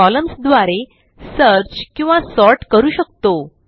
columns द्वारे search किंवा sort करू शकतो